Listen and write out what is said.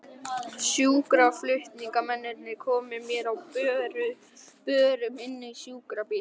Sjúkraflutningamennirnir komu mér á börum inn í sjúkrabílinn.